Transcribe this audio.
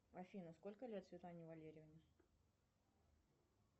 афина сколько лет светлане валерьевне